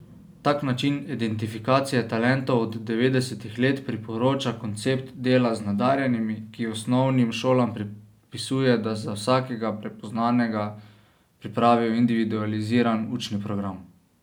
Tak način identifikacije talentov od devetdesetih let priporoča koncept dela z nadarjenimi, ki osnovnim šolam predpisuje, da za vsakega prepoznanega pripravijo individualiziran učni program.